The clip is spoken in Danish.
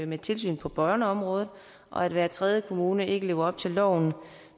med tilsynet på børneområdet og at hver tredje kommune ikke lever op til loven